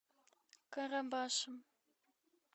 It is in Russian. карабашем